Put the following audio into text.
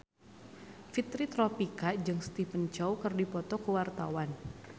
Fitri Tropika jeung Stephen Chow keur dipoto ku wartawan